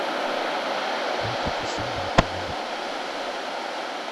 ольге косолаповой